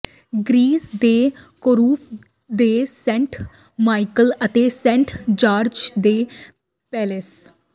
Greece ਦੇ Corfu ਦੇ saint Michael ਅਤੇ ਸੇਂਟ ਜਾਰਜ ਦੇ ਪੈਲੇਸ